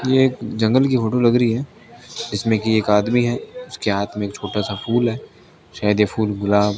ये एक जंगल की फोटो लग रही है इसमें की एक आदमी है उसके हाथ मे एक छोटा सा फूल है शायद ये फूल गुलाब --